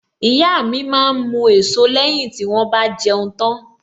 Ìyá mi máa ń mu èso lẹ́yìn tí wón bá jẹun tán.